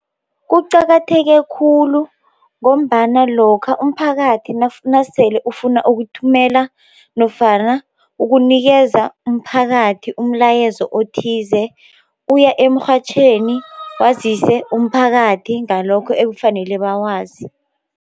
Kuqakatheke khulu ngombana lokha umphakathi nasele ufuna ukuthumela nofana ukunikeza umphakathi umlayezo othize uya emrhatjhweni wazise umphakathi ngalokho ekufanele bakwazi.